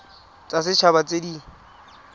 tsa set haba tse di